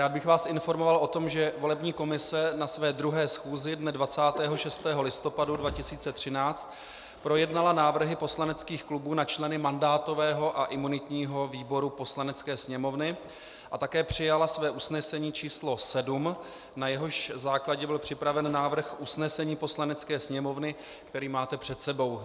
Rád bych vás informoval o tom, že volební komise na své druhé schůzi dne 26. listopadu 2013 projednala návrhy poslaneckých klubů na členy mandátového a imunitního výboru Poslanecké sněmovny a také přijala své usnesení číslo 7, na jehož základě byl připraven návrh usnesení Poslanecké sněmovny, který máte před sebou.